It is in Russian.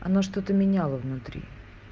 оно что-то меняло внутри